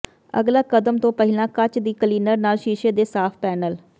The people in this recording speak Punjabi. ਅਗਲਾ ਕਦਮ ਤੋਂ ਪਹਿਲਾਂ ਕੱਚ ਦੀ ਕਲੀਨਰ ਨਾਲ ਸ਼ੀਸ਼ੇ ਦੇ ਸਾਫ਼ ਪੈਨਲ